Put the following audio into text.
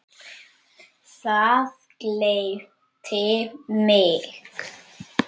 Það gleypti mig.